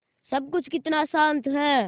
सब कुछ कितना शान्त है